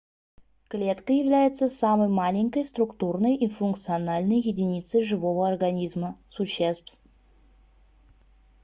клетка является самой маленькой структурной и функциональной единицей живого организма существ